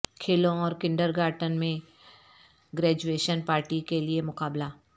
کھیلوں اور کنڈرگارٹن میں گریجویشن پارٹی کے لئے مقابلہ